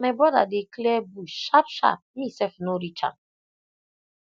my brother dey clear bush sharp sharp me sef no reach am